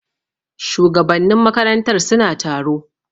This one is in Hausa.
Shugabannin makarantar suna taro.